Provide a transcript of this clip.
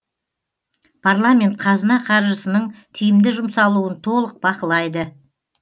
парламент қазына қаржысының тиімді жұмсалуын толық бақылайды